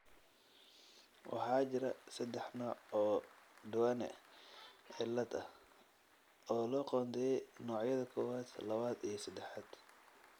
Waxaa jira saddex nooc oo Duane cilad ah, oo loo qoondeeyay noocyada kowad, labad iyo sedexad.